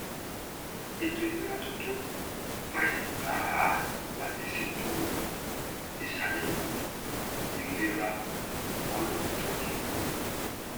ètò ìlera tuntun fàyè gbà á láti ṣètò ìṣàyẹwò ìlera ọlọjọ gígùn